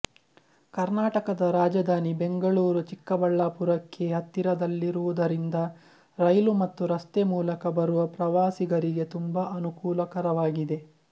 ಕರ್ನಾಟಕದ ರಾಜಧಾನಿ ಬೆಂಗಳೂರು ಚಿಕ್ಕಬಳ್ಳಾಪುರಕ್ಕೆ ಹತ್ತಿರದಲ್ಲಿರುವುದರಿಂದ ರೈಲು ಮತ್ತು ರಸ್ತೆ ಮೂಲಕ ಬರುವ ಪ್ರವಾಸಿಗರಿಗೆ ತುಂಬಾ ಅನುಕೂಲಕರವಾಗಿದೆ